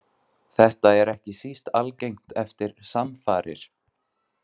Þetta er ekki síst algengt eftir samfarir.